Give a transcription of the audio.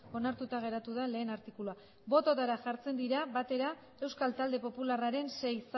onartuta geratu da lehen artikulua bototara jartzen dira batera euskal talde popularraren sei